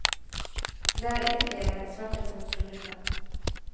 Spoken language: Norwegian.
Det har ytterligere svertet hans rulleblad.